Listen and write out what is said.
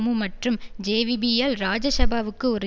மற்றும் ஜேவிபி யல் இராஜசபாவுக்கு ஒரு